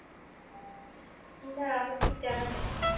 না আমার ঠিক জানা নেই।